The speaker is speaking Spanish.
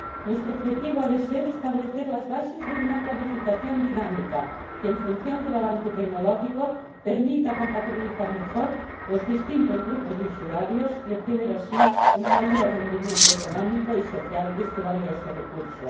Nuestro objetivo ha de ser establecer las bases de una planificación dinámica que, en función del avance tecnológico, permita compatibilizar mejor los distintos grupos de usuarios y obtener así un mayor rendimiento económico y social de este valioso recurso.